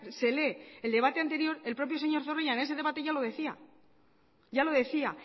se lee el debate anterior el propio señor zorrilla en ese debate ya lo decía ya lo decía